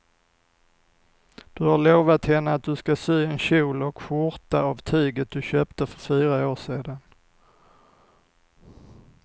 Du har lovat henne att du ska sy en kjol och skjorta av tyget du köpte för fyra år sedan.